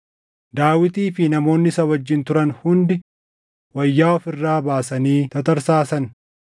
Daawitii fi namoonni isa wajjin turan hundi wayyaa of irraa baasanii tatarsaasan.